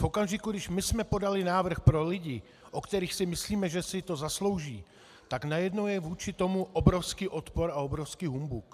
V okamžiku, kdy my jsme podali návrh pro lidi, o kterých si myslíme, že si to zaslouží, tak najednou je vůči tomu obrovský odpor a obrovský humbuk.